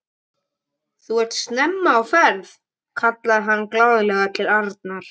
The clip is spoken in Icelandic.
Þú ert snemma á ferð! kallaði hann glaðlega til Arnar.